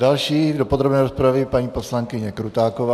Další do podrobné rozpravy paní poslankyně Krutáková.